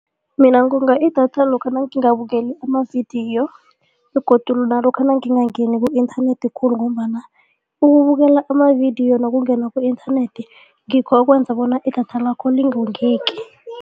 Mina ngonga idatha lokha nangingabukeli amavidiyo begodu nalokha nangingangeni ku-internet khulu ngombana ukubukela amavidiyo nokungena ku-internet ngikho okwenza bona idatha lakho lingongeki.